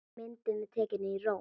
Myndin er tekin í Róm.